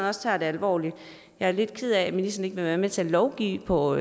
også tager det alvorligt jeg er lidt ked af at ministeren ikke vil være med til at lovgive på